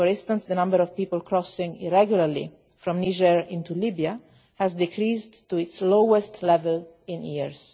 For instance, the number of people crossing irregularly from Niger into Libya has decreased to its lowest level in years.